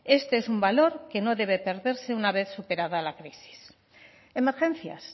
este es un valor que no debe perderse una vez superada la crisis emergencias